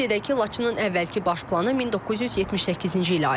Qeyd edək ki, Laçının əvvəlki baş planı 1978-ci ilə aiddir.